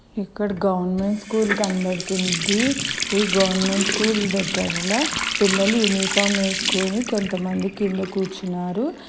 ఇక్కడ government school కనపడుతుంది ఈ గవర్నమెంట్ స్కూల్ దగ్గర పిల్లలు యూనిఫామ్ వేసుకొని కొంతమంది కింద కూర్చున్నారు